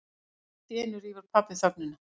Alltíeinu rýfur pabbi þögnina.